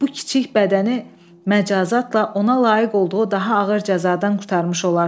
Bu kiçik bədəni məcazatla ona layiq olduğu daha ağır cəzadan qurtarmış olarsız.